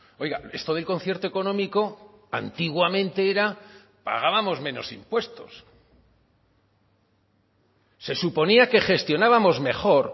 oiga esto del concierto económico antiguamente era pagábamos menos impuestos se suponía que gestionábamos mejor